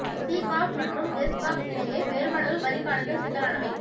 C corps மற்றும் S corps இடையே வேறுபாடுகள் வரி காலத்தில் சிக்கலானவை